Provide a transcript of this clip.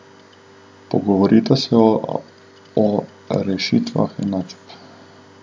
Pogovorita se o rešitvah enačb.